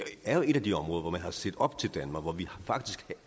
er jo et af de områder hvor man har set op til danmark og hvor vi faktisk